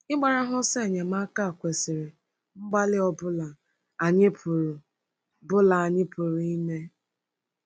Ịgbara ha ọsọ enyemaka kwesịrị mgbalị ọ bụla anyị pụrụ bụla anyị pụrụ ime.